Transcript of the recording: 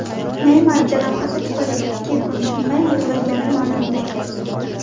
Neymar jarohati tufayli ikki kun tinmay yig‘lagani ma’lum bo‘ldi.